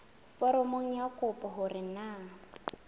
foromong ya kopo hore na